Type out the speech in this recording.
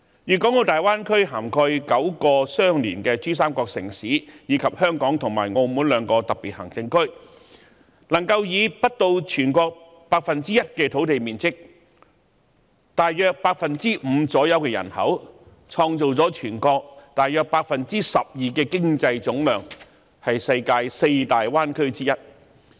粵港澳大灣區涵蓋9個相連的珠三角城市，以及香港和澳門兩個特別行政區，能夠以不到全國 1% 的土地面積及約 5% 的人口，創造了全國約 12% 的經濟總量，是世界四大灣區之一。